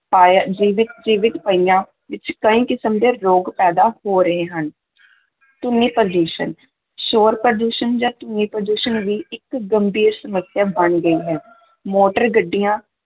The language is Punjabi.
ਪਾਇਆ ਜੀਵਿਤ ਜੀਵਿਤ ਪਈਆਂ ਵਿੱਚ ਕਈ ਕਿਸਮ ਦੇ ਰੋਗ ਪੈਦਾ ਹੋ ਰਹੇ ਹਨ ਧੁਨੀ ਪ੍ਰਦੂਸ਼ਣ, ਸ਼ੋਰ-ਪ੍ਰਦੂਸ਼ਣ ਜਾਂ ਧੁਨੀ-ਪ੍ਰਦੂਸ਼ਣ ਵੀ ਇੱਕ ਗੰਭੀਰ ਸਮੱਸਿਆ ਬਣ ਗਈ ਹੈ, ਮੋਟਰ ਗੱਡੀਆਂ